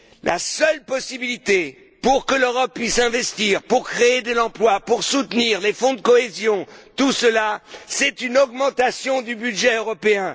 La seule possibilité pour que l'Europe puisse investir pour créer de l'emploi et soutenir les fonds de cohésion, c'est une augmentation du budget européen.